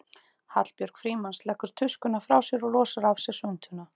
Hallbjörg Frímanns leggur tuskuna frá sér og losar af sér svuntuna.